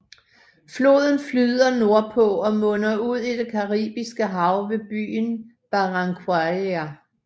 Floden flyder nordpå og munder ud i det Caribiske Hav ved byen Barranquilla